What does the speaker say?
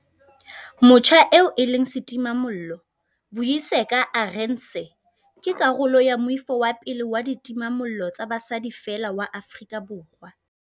Motjha eo e leng setimamollo, Vuyiseka Arendse, ke karolo ya moifo wa pele wa ditimamollo tsa basadi feela wa Afrika Borwa.